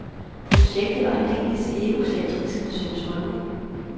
Projektet var aldeles egocentrisk, syntes mange.